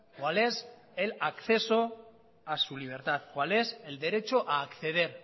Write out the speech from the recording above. cuál es el acceso a su libertad cuál es el derecho a acceder